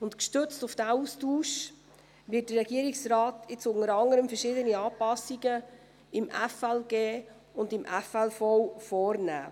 Und gestützt auf diesen Austausch wird der Regierungsrat jetzt unter anderem verschiedene Anpassungen im Gesetz über die Steuerung von Finanzen und Leistungen (FLG) und in der FLV vornehmen.